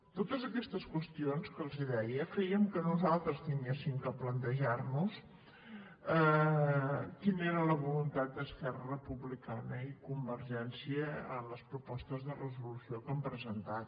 totes aquestes qüestions que els deia feien que nosaltres haguéssim de plantejar nos quina era la voluntat d’esquerra republicana i convergència en les propostes de resolució que han presentat